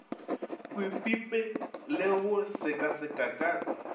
kwepipe le go sekaseka ka